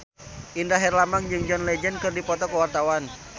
Indra Herlambang jeung John Legend keur dipoto ku wartawan